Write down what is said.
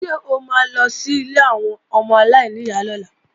Ṣé o ma lọ sí ilé àwọn ọmọ aláìníyá lọ́la?